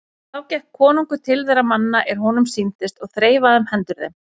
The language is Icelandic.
Þá gekk konungur til þeirra manna er honum sýndist og þreifaði um hendur þeim.